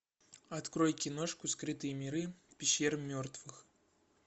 открой киношку скрытые миры пещеры мертвых